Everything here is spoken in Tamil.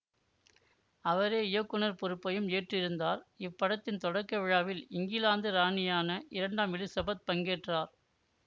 அவரே இயக்குநர் பொறுப்பையும் ஏற்று இருந்தார் இப்படத்தின் தொடக்க விழாவில் இங்கிலாந்து ராணியான இரண்டாம் எலிசபெத் பங்கேற்றார்